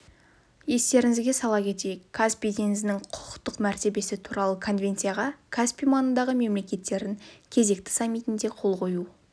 естеріңізге сала кетейік каспий теңізінің құқықтық мәртебесі туралы конвенцияға каспий маңындағы мемлекеттердің кезекті саммитінде қол қою